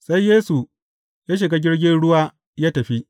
Sai Yesu ya shiga jirgin ruwa ya tafi.